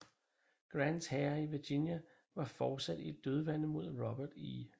Grants hære i Virginia var fortsat i et dødvande mod Robert E